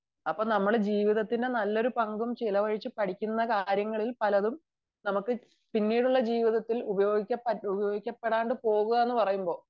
അപ്പൊ നമ്മൾ ജീവിതത്തിന്റെ നല്ലൊരു പങ്കും ചെലവഴിച്ചു പഠിക്കുന്ന കാര്യങ്ങളിൽ പലതും നമുക്ക് പിന്നീട് ഉള്ള ജീവിതത്തിൽ ഉപയോഗിക്കപെടാതെ പോവുന്നു എന്ന് പറയുമ്പോൾ